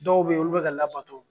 Dɔw be yen olu be ka labato.